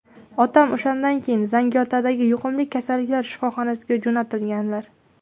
Otam o‘shandan keyin Zangiotadagi yuqumli kasalliklari shifoxonasiga jo‘natilganlar.